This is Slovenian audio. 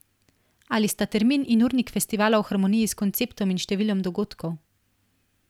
Ali sta termin in urnik festivala v harmoniji s konceptom in številom dogodkov?